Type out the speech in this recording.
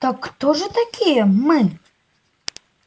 так кто же такие мы